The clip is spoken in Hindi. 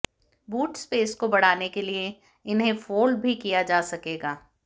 बूट स्पेस को बढ़ाने के लिए इन्हें फोल्ड भी किया जा सकेगा